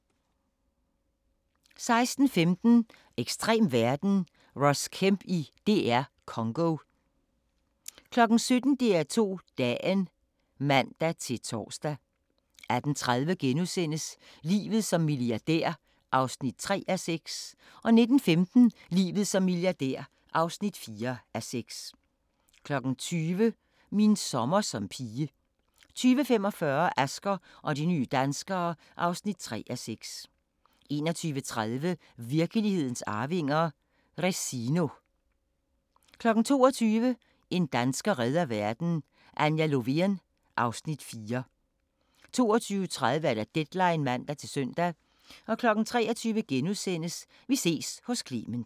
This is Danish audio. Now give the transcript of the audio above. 16:15: Ekstrem verden – Ross Kemp i DR Congo 17:00: DR2 Dagen (man-tor) 18:30: Livet som milliardær (3:6)* 19:15: Livet som milliardær (4:6) 20:00: Min sommer som pige 20:45: Asger og de nye danskere (3:6) 21:30: Virkelighedens arvinger: Resino 22:00: En dansker redder verden - Anja Lovén (Afs. 4) 22:30: Deadline (man-søn) 23:00: Vi ses hos Clement *